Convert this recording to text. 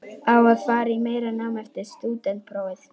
Á að fara í meira nám eftir stúdentsprófið?